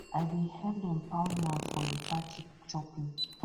i bin help dem pound yam for di party chopping